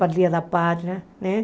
Para o Dia da Pátria, né?